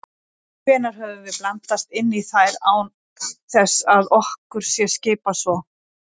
Hvenær höfum við blandast inn í þær án þess að okkur sé skipað svo?